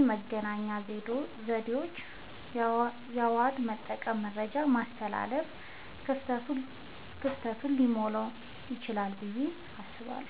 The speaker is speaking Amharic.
የመገናኛ ዘዴዎችን አዋህዶ በመጠቀም መረጃን ማስተላለፍ ክፍተቱን ሊሞላዉ ይችላል ብየ አስባለሁ።